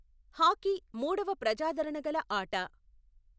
Hockey మూడవ ప్రజాదరణ గల ఆట.